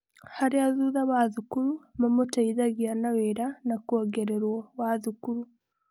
Harĩa thutha wa thukuru mamũteithagia na wĩra wa kuongererwo wa thukuru.